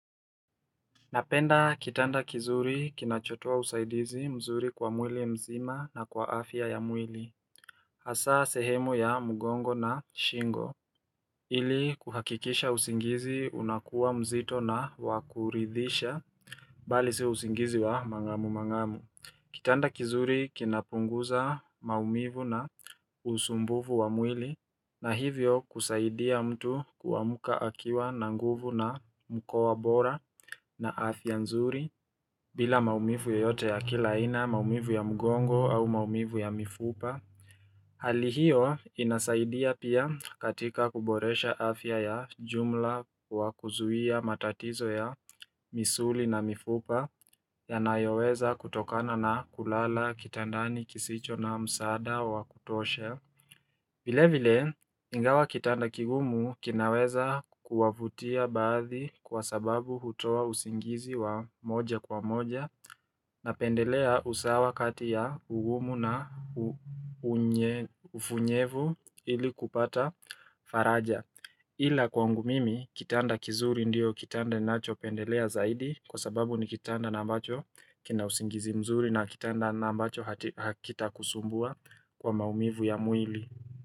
Napenda kitanda kizuri kinachotoa usaidizi mzuri kwa mwili mzima na kwa afya ya mwili. Hasaa sehemu ya mugongo na shingo. Ili kuhakikisha usingizi unakuwa mzito na wa kuridhisha, bali si usingizi wa mangamu mangamu. Kitanda kizuri kinapunguza maumivu na usumbuvu wa mwili, na hivyo kusaidia mtu kuamuka akiwa na nguvu na mkoa bora na afya nzuri bila maumivu yoyote ya kila aina maumivu ya mgongo au maumivu ya mifupa Hali hiyo inasaidia pia katika kuboresha afya ya jumla wa kuzuia matatizo ya misuli na mifupa yanayoweza kutokana na kulala, kitandani, kisicho na msaada wa kutosha vile vile, ingawa kitanda kigumu kinaweza kuwavutia baadhi kwa sababu hutoa usingizi wa moja kwa moja napendelea usawa kati ya ugumu na ufunyevu ili kupata faraja. Ila kwangu mimi, kitanda kizuri ndio kitanda ninachopendelea zaidi kwa sababu ni kitanda na ambacho kina usingizi mzuri na kitanda na ambacho hakita kusumbua kwa maumivu ya muili.